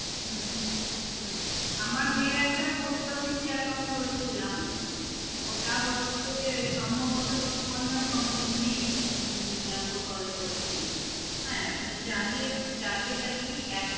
হম আমার মেয়ের একটা post office এ account করেছিলাম, ওটা হচ্ছে সম্ভবত সুকন্যা সমৃদ্ধি উম প্রকল্প আরকি হ্যাঁ মানে যাদের যাদের আরকি